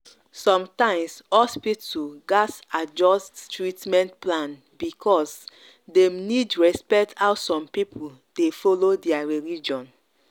sometimes hospital gats adjust treatment plan because dem need respect how some people dey follow their religion.